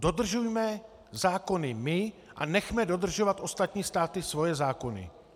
Dodržujme zákony my a nechme dodržovat ostatní státy svoje zákony.